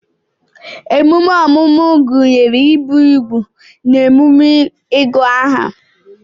emume ọmụmụ gụnyere ibi úgwù na emume ịgụ aha